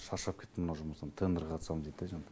шаршап кеттім мына жұмыстан тендерге қатысамын дитта жаңа